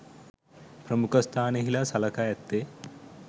ප්‍රමුඛස්ථානයෙහිලා සලකා ඇත්තේ